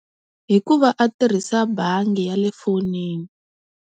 Hikuva a tirhisa bangi ya le fonini.